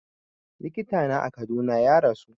Likita na a Kaduna ya rasu